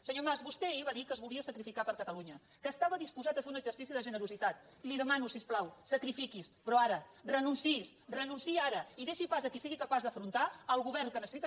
senyor mas vostè ahir va dir que es volia sacrificar per catalunya que estava disposat a fer un exercici de generositat li demano si us plau sacrifiquis però ara renunciï renunciï ara i deixi pas a qui sigui capaç d’afrontar el govern que necessita